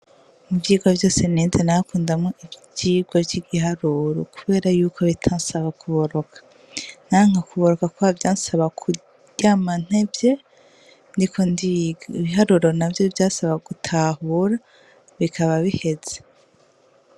Ivyigwa vyose nize narakundamwo ivyigwa vy'igiharuro kubera yuko bitansaba kuboronka, nanka kuboroka kubera vyansaba kuryama ntevye ndiko ndiga, ibiharuro navyo vyasaba gutahura bikaba biheze.